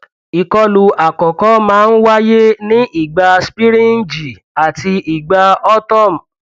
ìkọlù àkọkọ máa ń wáyé ní ìgbà spríǹgì àti ìgbà autumn